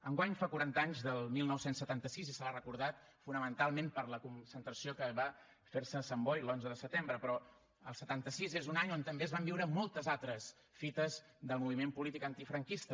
enguany fa quaranta anys del dinou setanta sis i se l’ha recordat fonamentalment per la concentració que va fer se a sant boi l’onze de setembre però el setanta sis és un any on també es van viure moltes altres fites del moviment polític antifranquista